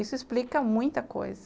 Isso explica muita coisa.